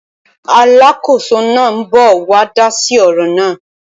Aláàkóso náà ń bọ̀ wá dá sí ọ̀rọ̀ náà